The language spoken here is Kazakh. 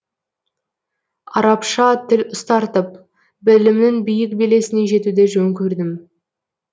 арабша тіл ұстартып білімнің биік белесіне жетуді жөн көрдім